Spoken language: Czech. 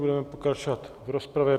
Budeme pokračovat v rozpravě.